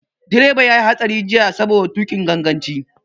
Direba ya yi hatsari jiya saboda tuƙin ganganci.